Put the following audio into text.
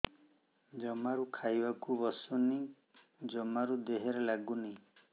ଜମାରୁ ଖାଇବାକୁ ବସୁନି ଜମାରୁ ଦେହରେ ଲାଗୁନି